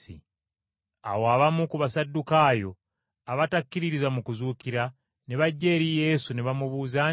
Awo abamu ku Basaddukaayo abatakkiririza mu kuzuukira, ne bajja eri Yesu, ne bamubuuza nti,